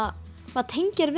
maður tengir